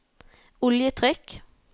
oljetrykk